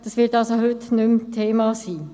Es wird heute also nicht mehr Thema sein.